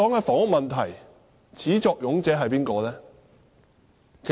房屋問題的始作俑者是誰？